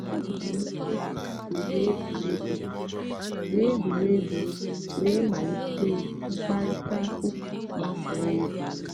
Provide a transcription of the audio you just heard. ọ hụ̀rụ̀ ònyè yì ùwé ègwùrègwù wéé ègwùrègwù wéé malìtè mkpáịrịtà ụ́ka gbàsàrà ègwù.